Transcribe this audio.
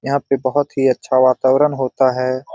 यहाँ पे बहुत ही अच्छा वातावरण होता है ।